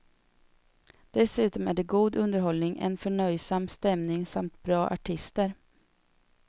Dessutom är det god underhållning, en förnöjsam stämning samt bra artister.